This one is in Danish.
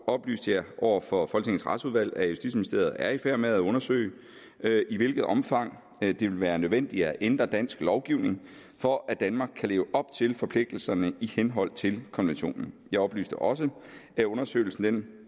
oplyste jeg over for retsudvalget at justitsministeriet er i færd med at undersøge i hvilket omfang det vil være nødvendigt at ændre dansk lovgivning for at danmark kan leve op til forpligtelserne i henhold til konventionen jeg oplyste også at undersøgelsen